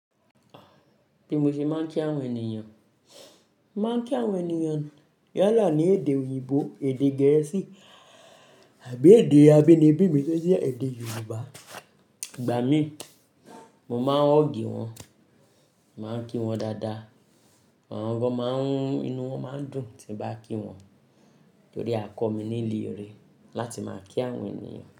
Ti mo ṣe máa ń kí àwọn ènìyàn. Máa ń kí àwọn ènìyàn yálà ní èdè òyìnbó, èdè gẹ̀ẹ́sì àbí èdè abínibí mi tó jẹ́ èdè Yorùbá. Ìgbà mií, mo máa ń huugì wọn, mo màá ń kí wọn dáadáa. Àwọn gan máa ń, inú wọn máa ń dùn tí n bá kí wọn torí a kọ́ mi nílé ire láti máa kí àwọn ènìyàn.